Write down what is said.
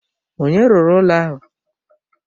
Onye rụrụ ụlọ ahụ?